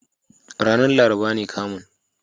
Ranar laraba ne kamun.